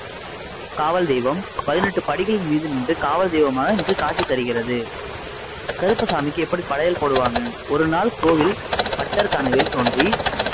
காவல் தெய்வம் பதினெட்டு படிகளின் மீது நின்று காவல் தெய்வமாய் காட்சி தருகிறது கருப்பசாமிக்கு எப்படி படையல் போடுவாங்க ஒருநாள் கோவில் பட்டர் கனவில் தோன்றி